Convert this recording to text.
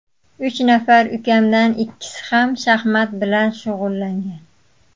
Uch nafar ukamdan ikkisi ham shaxmat bilan shug‘ullangan.